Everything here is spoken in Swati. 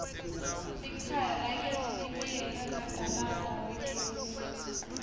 likhaya lakitsi libiyelwe ngadalada wagesi